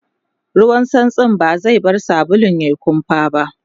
ruwan santsin ba zai bar sabulun yayi kumfa ba